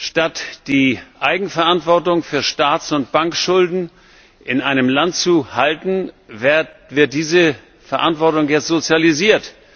Statt die Eigenverantwortung für Staats und Bankschulden in einem Land zu halten, wird diese Verantwortung jetzt sozialisiert.